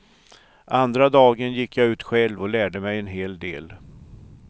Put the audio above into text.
Andra dagen gick jag ut själv och jag lärde mig en hel del.